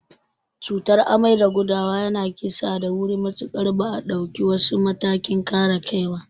Cutar amai da gudawa yana kissa da wuri matuƙar ba a dauki wasu matakin kare kai ba.